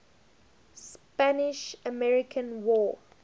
spanish american war